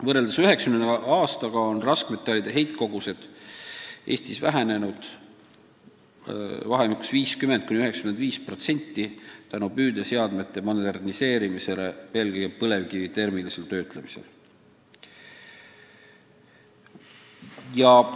Võrreldes 1990. aastaga on raskmetallide heitkogused Eestis vähenenud vahemikus 50–95% tänu püüdeseadmete moderniseerimisele eelkõige põlevkivi termilisel töötlemisel.